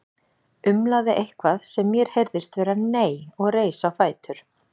Umlaði eitthvað sem mér heyrðist vera nei og reis á fætur.